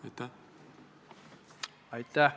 Aitäh!